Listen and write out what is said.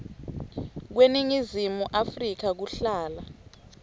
kweningizimu afrika kuhlala